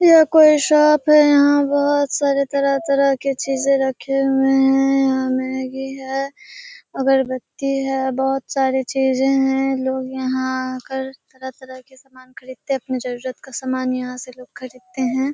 यह कोई शॉप है। यहाँ पे बहोत सारे तरह-तरह के चीजें रखे हुए हैं। यहाँ मैगी है अगरबत्ती है बहोत सारी चीजें हैं। लोग यहाँ पर आ कर तरह-तरह के सामान खरीदते हैं। अपने जरूरत का सामान यहाँ से खरीदते हैं।